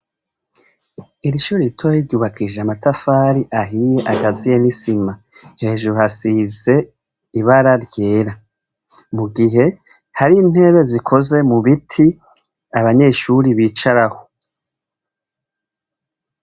Irishure ritoyi ryubakishije amatafari ahiye harimwo n' isima, hejuru hasiz' ibara ryera. Mugihe, har' intebe zikozwe mu biti, abanyeshure bicaraho.